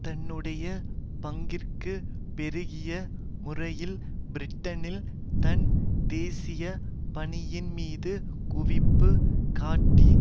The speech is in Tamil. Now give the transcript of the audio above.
தன்னுடைய பங்கிற்கு பெருகிய முறையில் பிரிட்டனில் தன் தேசிய பணியின்மீது குவிப்பு காட்டி